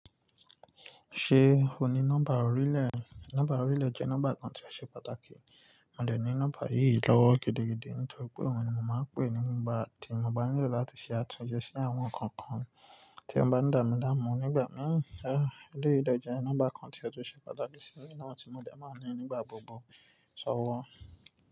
Ṣé ò ní nọ́mbà orílẹ̀? Nọ́mbà orílẹ̀ jẹ́ nọ́mbà kan tí ó ṣe pàtàkì. Mó dẹ̀ ní nọ́mbà yìí lọ́wọ́ gidigidi nítorí pé òun ni mó máa ń pè nígbà tí mó bá nílò láti ṣe àtúnse sí àwọn nkankan tí ó bá damilamu nígbà mì. A, eleyìí de je, nọ́mbà kan tí ó tún ṣe pàtàkì sí i mi naa tí mó dẹ̀ máa ń ní nígbà gbogbo. Sọ wá.